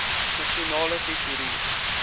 nasionale tesourie